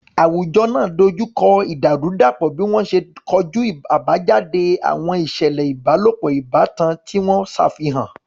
Àwùjọ náà dojú kọ ìdàrúdàpọ̀ bí wọ́n ṣe ń kojú àbájáde àwọn ìṣẹ̀lẹ̀ ìbálòpọ̀ ìbátan tí wọ́n ṣàfihàn.